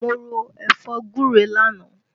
Mo ro ẹ̀fọ́ gúre lánàá